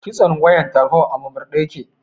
Kitson wayar tarho a murmurɗe yake.